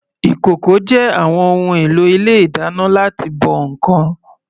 Ìkòkò jẹ́ àwọn ohun èlò ilé ìdáná láti bọ ǹkan.